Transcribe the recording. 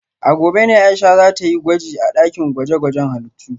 A gobe ne Aisha za ta yi gwaji a dakin gwaje-gwajen halittu